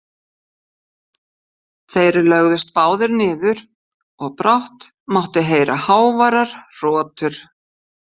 Þeir lögðust báðir niður og brátt mátti heyra háværar hrotur.